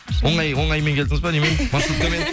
оңаймен келдіңіз бе немен маршруткамен